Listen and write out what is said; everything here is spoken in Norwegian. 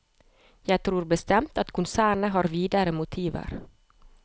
Jeg tror bestemt at konsernet har videre motiver.